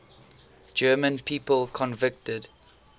german people convicted